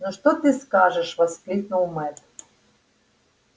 ну что ты скажешь воскликнул мэтт